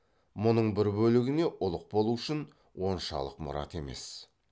мұның бір бөлігіне ұлық болу үшін оншалық мұрат емес